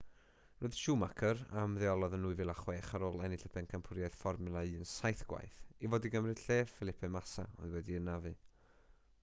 roedd schumacher a ymddeolodd yn 2006 ar ôl ennill y bencampwriaeth fformwla 1 saith gwaith i fod i gymryd lle felipe massa oedd wedi'i anafu